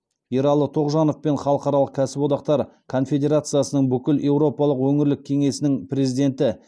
ералы тоғжанов пен халықаралық кәсіподақтар конфедерациясының бүкілеуропалық өңірлік кеңесінің президенті